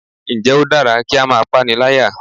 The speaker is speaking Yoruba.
Ǹ jẹ́ o dára kí á máa pániláyà